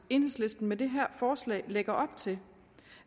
enhedslisten med det her forslag lægger op til